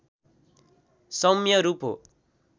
सौम्य रूप हो